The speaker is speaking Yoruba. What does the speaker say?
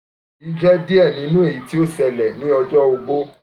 eyi jẹ diẹ ninu awọn aye ti o ṣẹlẹ ni ọjọ ogbó